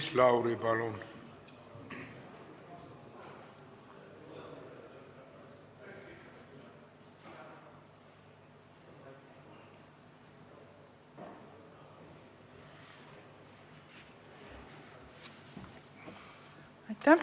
Maris Lauri, palun!